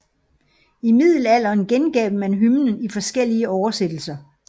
I Middelalderen gengav man hymnen i folkelige oversættelser